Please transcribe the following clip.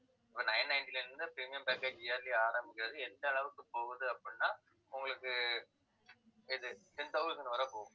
இப்ப nine-ninety ல இருந்து premium package year லயே ஆரம்பிக்கறது எந்த அளவுக்கு போகுது அப்படின்னா உங்களுக்கு ஆஹ் எது ten thousand வரை போகும்.